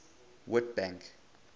witbank